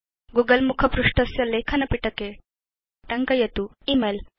Google मुखपृष्ठस्य लेखन पिटके टङ्कयतु इमेल